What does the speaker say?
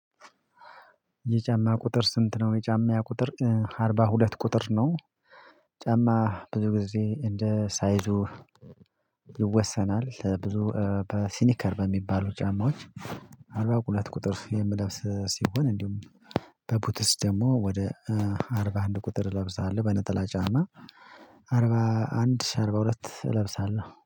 የጫማ ቁጥር ስንት ነው? የጫማ ቁጥር አርባ ሁለት ቁጥር ነው ጫማ ብዙ ጊዜ እንደ ሳይዙ ይወሰናል ብዙ በሲኒከር በሚባሉ ጫማዎች አርባ ሁለት ቁጥር የምለብስ ሲሆን እንዲሁም በቡትስ ደግሞ ወደ አርባ አንድ ቁጥር እለብሳለሁ በነጠላ ጫማ አርባ አንድ አርባ ሁለት እለብሳለሁ